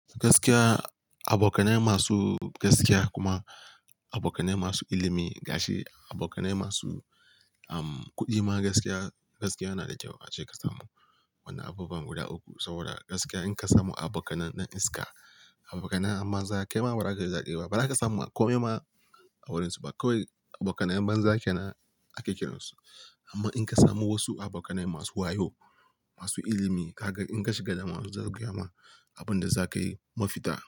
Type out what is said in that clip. Gaskiya, abokanai masu gaskiya kuma abokanai masu ilimi, gashi, abokanai masu, um, kuɗi ma gaskiya, gaskiya yana da kyau ace ka samu wani abubuwan guda uku. Saboda gaskiya in ka samu abokanai na iska, abokanai banza, kai ma ba za ka yi zaɓe ba, ba za ka samu a kome ma a wurinsu ba. Kowai abokanai banza kenan ake kiransu. Amma in ka samu wasu abokanai masu wayo, masu ilimi, ka ga in ka shiga damuwa su za su gayma, abin da za ka yi mafita.